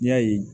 N'i y'a ye